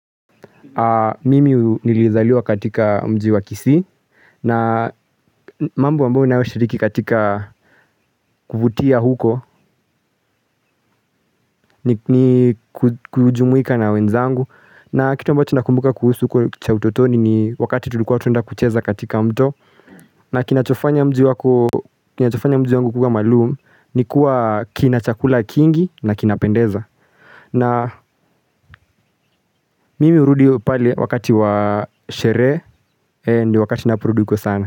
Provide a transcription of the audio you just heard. Mimi nilizaaliwa katika mji wa kisii. Na mambo ambao ninao shiriki katika kuvutia huko. Ni kujumuika na wenzangu. Na kitu ambacho nakumbuka kuhusu cha utotoni ni wakati tulikuwa tunaenda kucheza katika mto. Na kinachofanya mji wangu kuwa maalum ni kuwa kina chakula kingi na kinapendeza. Na mimi hurudi pale wakati wa sherehe ndio wakati naporudi huko sana.